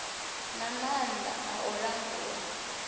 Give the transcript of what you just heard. na maanḓa a u langula